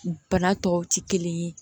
Bana tɔw tɛ kelen ye